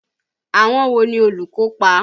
Àwọn wo ni olùkópa?